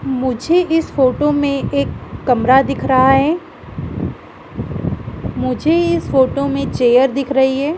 मुझे इस फोटो में एक कमरा दिख रहा है मुझे इस फोटो में चेयर दिख रही है।